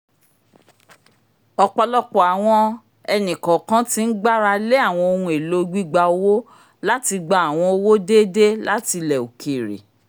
ọpọlọpọ awọn ẹni-kọọkan tí n gbára lé awọn ohùn èlò gbígbà owó láti gbà àwọn owó déédé láti ilẹ òkèèrè